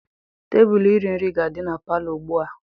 Tebụl iri nri ga-adị na palọ ugbu a.